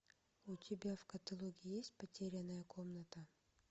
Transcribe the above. у тебя в каталоге есть потерянная комната